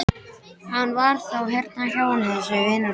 Hann var þá hérna hjá henni þessi vinur hennar!